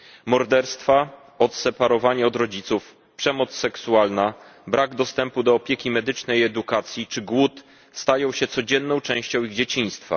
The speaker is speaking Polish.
Morderstwa, odseparowanie od rodziców, przemoc seksualna, brak dostępu do opieki medycznej, edukacji czy głód stają się codzienną częścią ich dzieciństwa.